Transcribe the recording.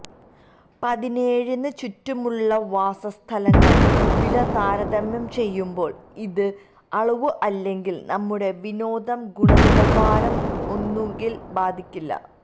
പതിനേഴ് ന് ചുറ്റുമുള്ള വാസസ്ഥലങ്ങൾ വില താരതമ്യം ചെയ്യുമ്പോൾ ഇത് അളവ് അല്ലെങ്കിൽ നമ്മുടെ വിനോദം ഗുണനിലവാരം ഒന്നുകിൽ ബാധിക്കില്ല